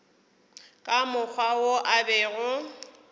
ka mokgwa wo a bego